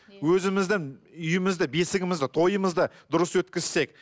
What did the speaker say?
өзіміздің үйімізді бесігімізді тойымызды дұрыс өткізсек